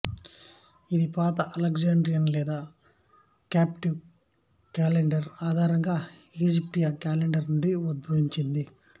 ఇది పాత అలెగ్జాండ్రియన్ లేదా కాప్టికు క్యాలెండరు ఆధారంగా ఈజిప్షియా క్యాలెండరు నుండి ఉద్భవించింది